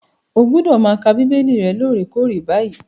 Ó gbọ́dọ̀ máa ka Bíbélì rẹ lóòrèkoòrè báyìí.